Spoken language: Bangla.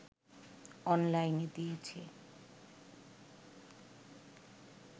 অনলাইনে দিয়েছে